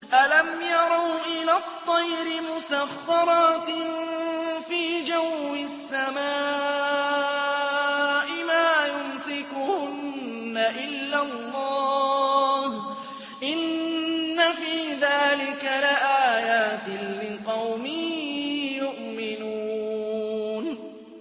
أَلَمْ يَرَوْا إِلَى الطَّيْرِ مُسَخَّرَاتٍ فِي جَوِّ السَّمَاءِ مَا يُمْسِكُهُنَّ إِلَّا اللَّهُ ۗ إِنَّ فِي ذَٰلِكَ لَآيَاتٍ لِّقَوْمٍ يُؤْمِنُونَ